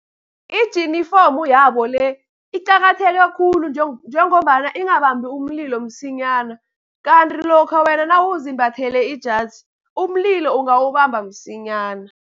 Ijinifomu yabo le iqakatheke khulu, njengombana ingabambi umlilo msinyana. Kanti lokha wena nawuzimbathele ijazi, umlilo ungawubamba msinyana.